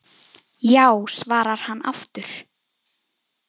Já svarar hann aftur.